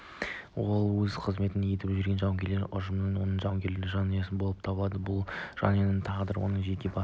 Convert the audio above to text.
ол өзі қызмет етіп жүрген жауынгер ұжым оның жауынгерлік жанұясы болып табылады бұл жанұяның тағдыры оның жеке басының